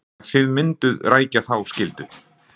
Þóra: Þannig að þið mynduð rækja þá skyldu?